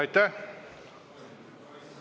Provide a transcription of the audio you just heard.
Aitäh!